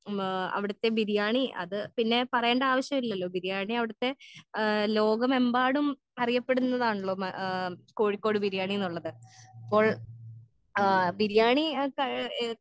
ഉം ഏ അവിടുത്തെ ബിരിയാണി അത് പിന്നെ പറയണ്ട ആവശ്യല്ലല്ലോ ബിരിയാണി അവിടുത്തെ ഏഹ് ലോകമെമ്പാടും അറിയപ്പെടുന്നതാണലോ ഉം ഏഹ് കോഴിക്കോട് ബിരിയാണീന്ന് പറണത് പ്പോൾ ആ ബിരിയാണി